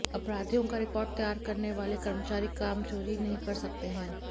अपराधियों का रिकार्ड तैयार करने वाले कर्मचारी कामचोरी नहीं कर सकते हैं